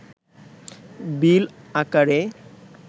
বিল আকারে